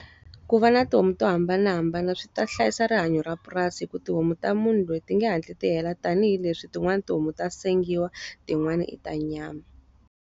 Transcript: Ku va na tihomu to hambanahambana swi ta hlayisa rihanyo ra purasi hikuva tihomu ta munhu loyi ti nge hatli ti hela tanihileswi tin'wana tihomu ta sengiwa, tin'wana ta nyama.